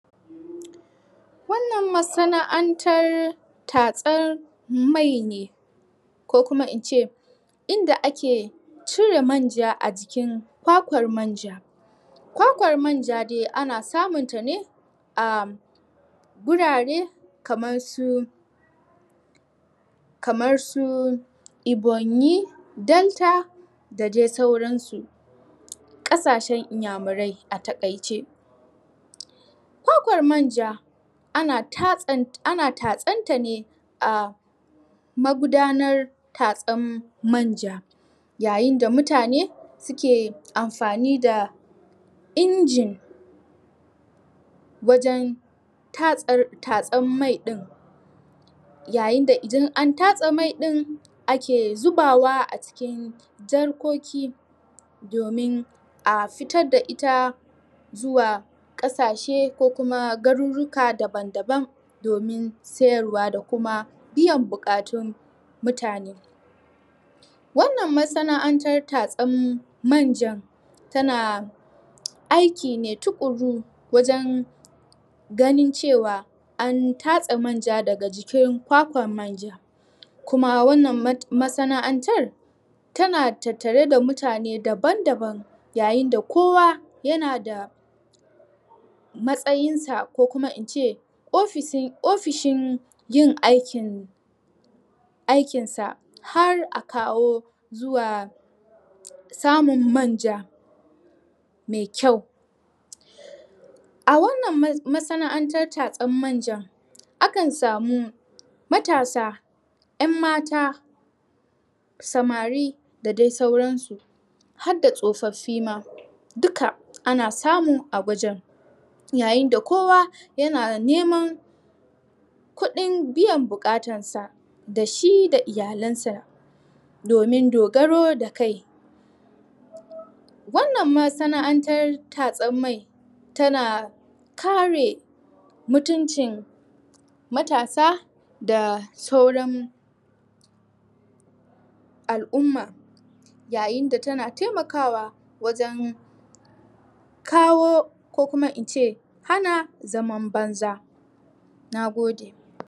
Wannan masana'antar tatsar mai ne Ko kuma in ce Inda ake cire manja a jikin kwakwar manja Kwakwar manja dai ana samunta ne A Gurare kamarsu Kamar su, Ebonyi, delta, da dai sauran su Ƙasashen iyamarai a taƙaice Kwakwar manja ana tatsan...ana tatsan ta ne a Magudanar tatsan manja Yayin da mutane suke amfani da Injin Wajen tatsan mai ɗin Yayin da idan an tatse mai ɗin ake zubawa a cikin jarkoki Domin a fitar da ita Zuwa ƙasashe ko kuma garuruka daban daban Domin sayarwa da kuma biyan buƙatun mutane Wannan masana'antar tatsen manjan tana Aiki ne tuƙuru wajen Ganin cewa an tatse manja daga jikin kwakwan manja Kuma wannan masana'antar Tana tattare da mutane daban daban, yayin da kowa yana da Matsayin sa ko kuma in ce ofishin yin aikin Aikin sa har a kawo zuwa Samun manja Mai kyau A wannan masana'antar tatsen manjan Akan samu matasa, 'yan mata Samari da dai sauran su Hadda tsofoffi ma Dukka ana samu a wajen Yayin da kowa yana neman Kuɗin biyan buƙatar sa, da shi da iyalen sa Domin dogaro da kai Wannan masana'antar tatsen mai Tana kare mutuncin Matasa da sauran Al'umma Yayin da ta na taimakawa wajen Kawo ko kuma in ce hana zaman banza. Nagode.